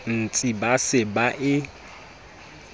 ntsi ba se ba e